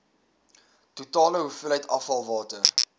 totale hoeveelheid afvalwater